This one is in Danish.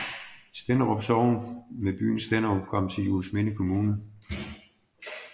Stenderup Sogn med byen Stenderup kom til Juelsminde Kommune